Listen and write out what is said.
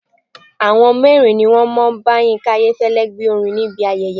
Àwọn mẹ́rin ni wọ́n bá Yínká Ayéfẹ́lẹ́ gbe orin níbi ayẹyẹ.